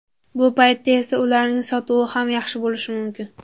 Bu paytda esa ularning sotuvi ham yaxshi bo‘lishi mumkin.